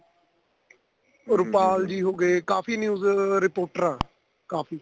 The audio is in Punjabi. ਰੁਪਾਲ ਜੀ ਹੋ ਗਏ ਕਾਫੀ news reporter ਆ ਕਾਫੀ